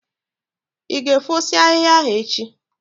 Ị ga efosi ahịhịa ahụ echi?